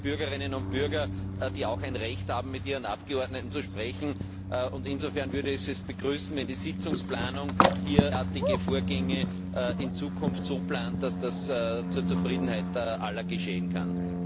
Das sind ja Bürgerinnen und Bürger, die auch ein Recht haben, mit ihren Abgeordneten zu sprechen, und insofern würde ich es begrüßen, wenn die Sitzungsplanung derartige Vorgänge in Zukunft so plant, dass das zur Zufriedenheit aller geschehen kann.